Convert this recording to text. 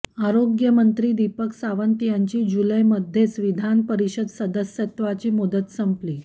आरोग्यमंत्री दीपक सावंत यांची जुलैमध्येच विधान परिषद सदस्यत्वाची मुदत संपली